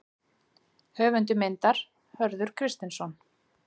Höfundur myndar: Hörður Kristinsson.